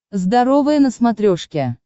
здоровое на смотрешке